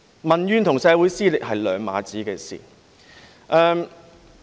民怨與社會撕裂是兩碼子的事。